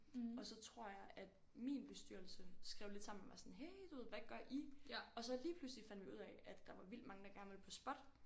Og så tror jeg at min bestyrelse skrev lidt sammen og var sådan hey du ved hvad gør I? Og så lige pludselig fandt vi ud af at der var vildt mange der gerne ville på SPOT